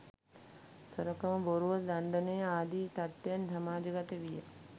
සොරකම, බොරුව, දණ්ඩනය ආදී තත්ත්වයන් සමාජගත විය.